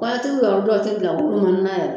Kɔɲɔntigi ninnu dɔw ti bila munnunmunnun na yɛrɛ